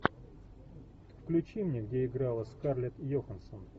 включи мне где играла скарлетт йоханссон